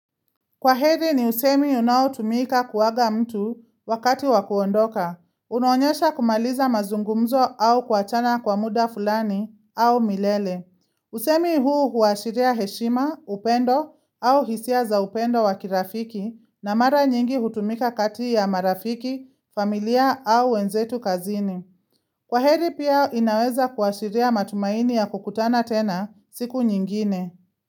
Kwaheri ni usemi unaotumika kuaga mtu wakati wakuondoka. Unaonyesha kumaliza mazungumzo au kuachana kwa muda fulani au milele. Usemi huu huashiria heshima, upendo au hisia za upendo wa kirafiki na mara nyingi hutumika kati ya marafiki, familia au wenzetu kazini. Kwaheri pia inaweza kuashiria matumaini ya kukutana tena siku nyingine.